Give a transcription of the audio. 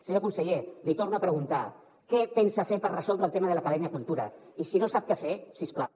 senyor conseller l’hi torno a preguntar què pensa fer per resoldre el tema de l’acadèmia cultura i si no sap què fer si us plau